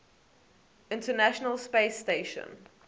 international space station